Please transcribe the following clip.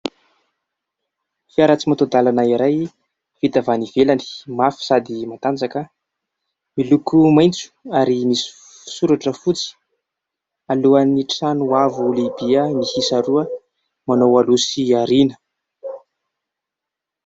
Fiara tsy mataho-dalana iray vita avy any ivelany, mafy sady matanjaka, miloko maitso ary misy soratra fotsy, alohan'ny trano avo lehibe miisa roa manao aloha sy aoriana.